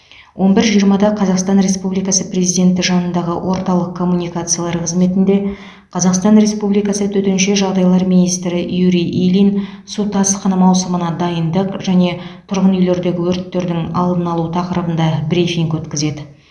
он бір жиырмада қазақстан республикасы президенті жанындағы орталық коммуникациялар қызметінде қазақстан республикасы төтенше жағдайлар министрі юрий ильин су тасқыны маусымына дайындық және тұрғын үйлердегі өрттердің алдын алу тақырыбында брифинг өткізеді